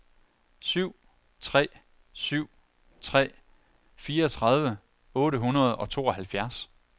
syv tre syv tre fireogtredive otte hundrede og tooghalvfjerds